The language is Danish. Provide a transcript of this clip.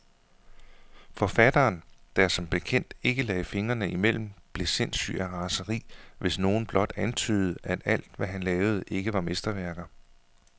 Forfatteren, der som bekendt ikke lagde fingrene imellem, blev sindssyg af raseri, hvis nogen blot antydede, at alt, hvad han lavede, ikke var mesterværker.